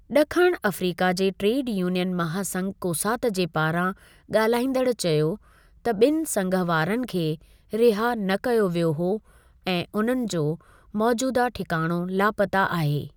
ॾखणु अफ्रीका जे trade union महासंघ कोसातु जे पारां ॻाल्हाईंदड़ु चयो त ॿिनि संघ वारनि खे रिहा न कयो वियो हो ऐं उन्हनि जो मौज़ूदह ठिकाणो लापता आहे।